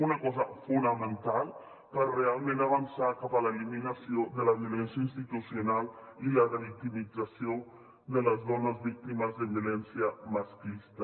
una cosa fonamental per realment avançar cap a l’eliminació de la violència institucional i la revictimització de les dones víctimes de violència masclista